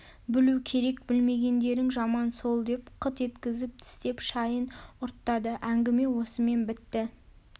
білу керек білмегендерің жаман сол деп қыт еткізіп тістеп шайын ұрттады әңгіме осымен бітті